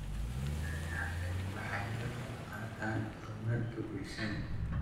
Xayawaanadani waxay ka qayb qaataan horumarka bulshada.